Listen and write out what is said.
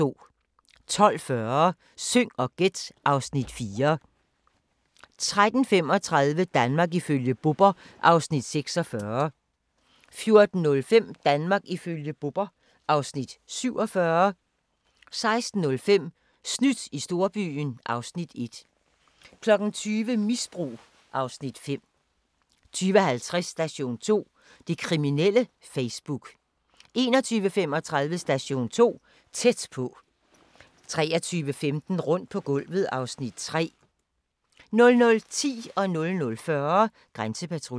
12:40: Syng og gæt (Afs. 4) 13:35: Danmark ifølge Bubber (Afs. 46) 14:05: Danmark ifølge Bubber (Afs. 47) 16:05: Snydt i storbyen (Afs. 1) 20:00: Misbrug (Afs. 5) 20:50: Station 2: Det kriminelle Facebook 21:35: Station 2: Tæt på 23:15: Rundt på gulvet (Afs. 3) 00:10: Grænsepatruljen 00:40: Grænsepatruljen